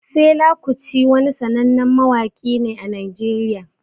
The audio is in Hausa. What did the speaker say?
Fela Kuti wani sanannen mawaƙi ne a Najeriya